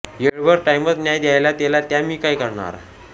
येळभर टायीमच नाय घावला त्येला म्या तरी काय कर्ण्हार